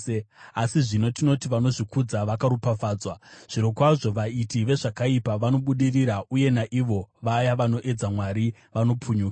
Asi zvino tinoti vanozvikudza vakaropafadzwa. Zvirokwazvo vaiti vezvakaipa vanobudirira uye naivo vaya vanoedza Mwari vanopunyuka.’ ”